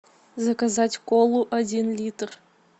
заказать колу один литр